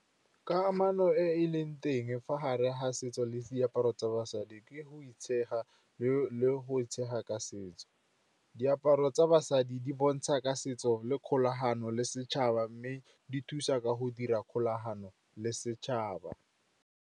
Kamano e e leng teng fa gare ga setso le diaparo tsa basadi ke go itshega le go itshega ka setso. Diaparo tsa basadi di bontsha ka setso le kgolagano le setšhaba, mme di thusa ka go dira kgolagano le setšhaba.